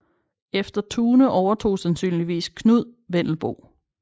Efter Thune overtog sandsynligvis Knud Wendelboe